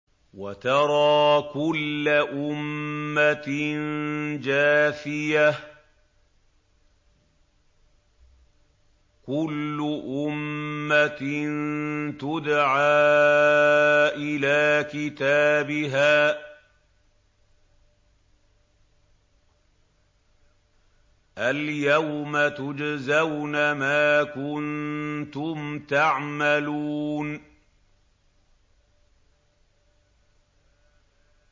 وَتَرَىٰ كُلَّ أُمَّةٍ جَاثِيَةً ۚ كُلُّ أُمَّةٍ تُدْعَىٰ إِلَىٰ كِتَابِهَا الْيَوْمَ تُجْزَوْنَ مَا كُنتُمْ تَعْمَلُونَ